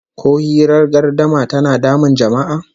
Ko hirar gardama tana damun jama'a?